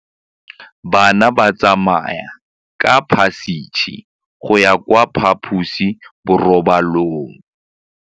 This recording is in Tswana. Bana ba tsamaya ka phašitshe go ya kwa phaposiborobalong.